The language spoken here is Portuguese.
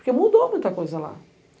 Porque mudou muita coisa lá.